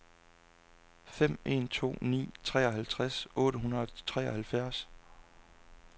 fem en to ni treoghalvtreds otte hundrede og treoghalvfjerds